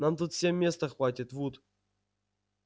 нам тут всем места хватит вуд